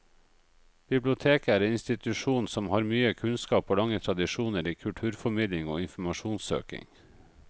Biblioteket er en institusjon som har mye kunnskap og lange tradisjoner i kulturformidling og informasjonssøking.